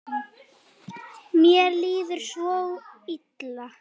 Mér líður svo illa